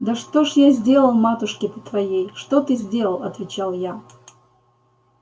да что ж я сделал матушке-то твоей что ты сделал отвечал я